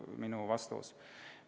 See on minu vastus.